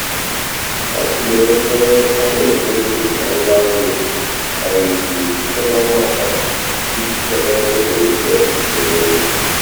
ọ tụlere ego a na-emefu na ngwa nri site n'ọnwa atọ iji chọta ebe e nwere ike ịchekwa ego.